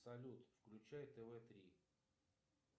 салют включай тв три